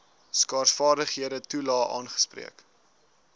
skaarsvaardighede toelae aangespreek